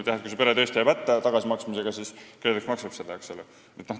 Ehk kui see pere jääb tõesti tagasimaksmisega hätta, siis KredEx maksab ise.